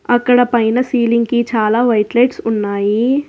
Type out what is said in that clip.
అక్కడ పైన సీలింగ్ కి చాలా వైట్ లైట్స్ ఉన్నాయి.